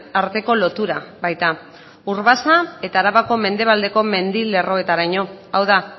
arteko lotura baita urbasa eta arabako mendebaldeko mendi lerroetaraino hau da